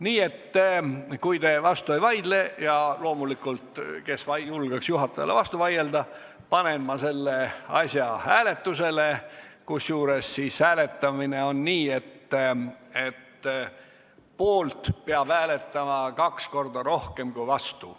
Nii et kui te vastu ei vaidle – ja kes julgekski juhatajale vastu vaielda –, siis panen ma selle asja hääletusele, kusjuures hääletamisega on nii, et poolt peab hääletama kaks korda rohkem kui vastu.